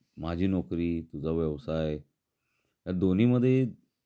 माझी नोकरी तुझा व्यवसाय या दोन्ही मध्ये